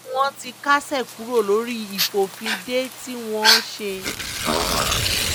wọ́n ní wọ́n ti kásẹ̀ kúrò lórí ìfòfindè tí wọ́n ṣe